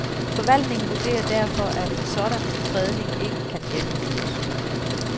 Forvaltningen vurderer derfor, at en sådan fredning ikke kan gennemføres.